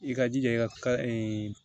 I ka jija i ka ka ee